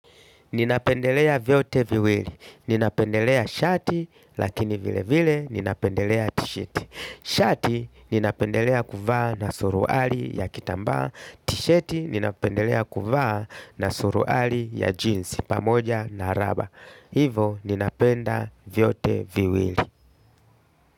Ninapendelea vyote viwili. Ninapendelea shati lakini vile vile ninapendelea ti-shati. Shati ninapendelea kuvaa na suruali ya kitambaa. Ti-shati ninapendelea kuvaa na suruali ya jeans pamoja na raba. Hivo ninapenda vyote viwili.